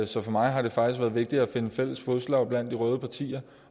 så for mig har det faktisk været vigtigt at finde fælles fodslag blandt de røde partier